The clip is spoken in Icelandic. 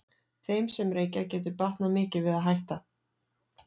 Þeim sem reykja getur batnað mikið við að hætta.